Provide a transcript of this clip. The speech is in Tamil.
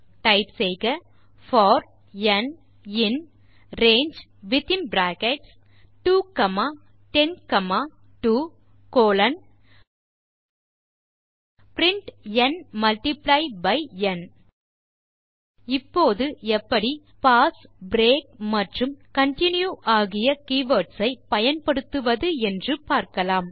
டைப் செய்க for n in range within bracket 2 comma 10 comma 2 colon print n multiply by n இப்போது எப்படி பாஸ் பிரேக் மற்றும் கன்டின்யூ ஆகிய கீவர்ட்ஸ் ஐ பயன்படுத்துவது என்று பார்க்கலாம்